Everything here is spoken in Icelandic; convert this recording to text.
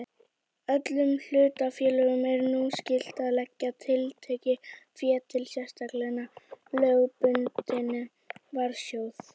Öllum hlutafélögum er nú skylt að leggja tiltekið fé í sérstakan lögbundinn varasjóð.